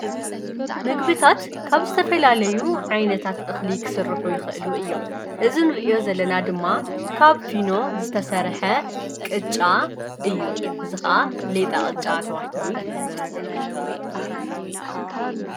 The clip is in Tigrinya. ምግቢታት ካብ ዝተፈላለዩ ዓይነታት እኽሊ ክስሩሕ ይኽእሉ እዮም እዝንርእዮ ዘለና ድማ ካብ ፊኖ ዝተሠርሐ ቕጫ እዩ ዝኸዓ ሌጣ ቐጫ ተባሂሉ ይፍለጥ::